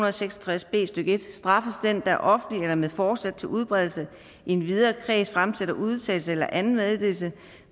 og seks og tres b stykke en straffes den der offentligt eller med forsæt til udbredelse i en videre kreds fremsætter udtalelse eller anden meddelelse